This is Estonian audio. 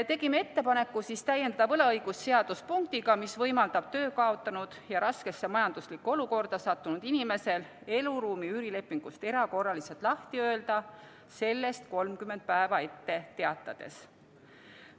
Tegime ettepaneku täiendada võlaõigusseadust punktiga, mis võimaldab töö kaotanud ja raskesse majanduslikku olukorda sattunud inimesel eluruumi üürilepingust erakorraliselt lahti öelda sellest 30 päeva ette teatades.